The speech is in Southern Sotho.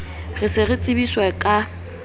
re se re tsebiswa ka